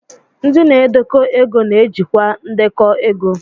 Ndị na-edekọ ego na-ejikwa ndekọ ego